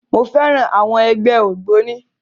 Mo féràn àwọn ẹgbẹ́ ògbóni.